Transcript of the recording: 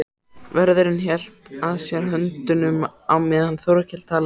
Vörðurinn hélt að sér höndum á meðan Þórkell talaði.